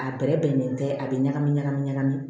A bɛrɛbɛnnen tɛ a bɛ ɲagami ɲagami ɲagami